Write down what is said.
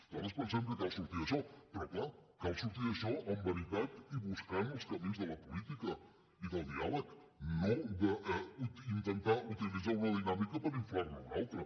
nosaltres pensem que cal sortir d’això però clar cal sortir d’això amb veritat i buscant els camins de la política i del diàleg no d’intentar utilitzar una dinàmica per inflar ne una altra